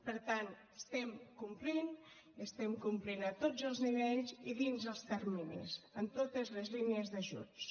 per tant complim i complim a tots els nivells i dins els terminis en totes les línies d’ajuts